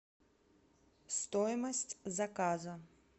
стоимость заказа